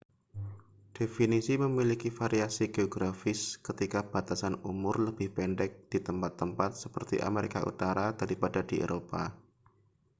definisi memiliki variasi geografis ketika batasan umur lebih pendek di tempat-tempat seperti amerika utara daripada di eropa